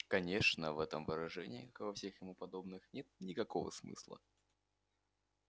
конечно в этом выражении как и во всех ему подобных нет никакого смысла